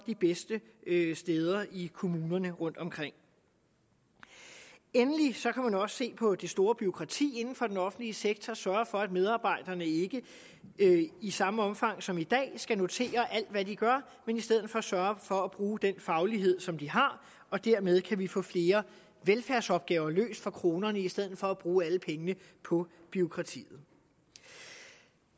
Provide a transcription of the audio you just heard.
de bedste steder i kommunerne rundtomkring endelig kan også se på det store bureaukrati inden for den offentlige sektor sørge for at medarbejderne ikke i samme omfang som i dag skal notere alt hvad de gør men i stedet for sørge for at bruge den faglighed som de har og dermed kan vi få flere velfærdsopgaver løst for kronerne i stedet for at bruge alle pengene på bureaukrati